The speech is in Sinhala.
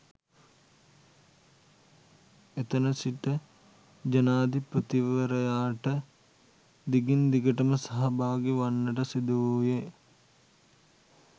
එතන සිටජනාධිපතිවරයාට දිගින් දිගටම සහභාගි වන්නට සිදුවූයේ